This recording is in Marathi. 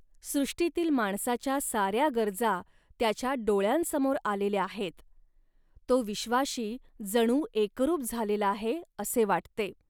सृष्टीतील माणसाच्या साऱ्या गरजा त्याच्या डोळ्यांसमोर आलेल्या आहेत. तो विश्वाशी जणू एकरूप झालेला आहे, असे वाटते